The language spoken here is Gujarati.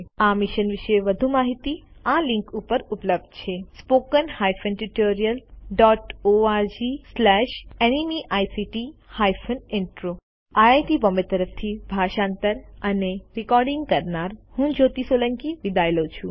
આ મિશન વિશે વધુ માહીતી આ લીંક ઉપર ઉપલબ્ધ છે httpspoken tutorialorgNMEICT Intro IIT Bombay તરફથી ભાષાંતર કરનાર હું જ્યોતિ સોલંકી વિદાય લઉં છું